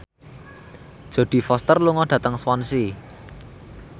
Jodie Foster lunga dhateng Swansea